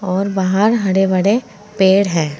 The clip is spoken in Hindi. और बाहर हड़े भड़े पेड़ है।